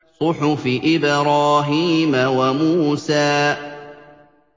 صُحُفِ إِبْرَاهِيمَ وَمُوسَىٰ